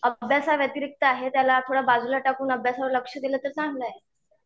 अभ्यासाव्यतिरिक्त आहे त्याला थोडं बाजूला टाकून अभ्यासावर लक्ष दिलं तर चांगलं आहे.